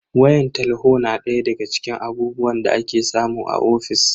Wayan talho na daya daga cikin abubuwan da ake samu a ofis.